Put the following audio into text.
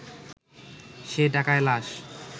সে টাকায় লাশ